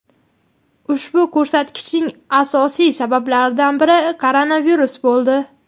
Ushbu ko‘rsatkichning asosiy sabablaridan biri koronavirus bo‘ldi.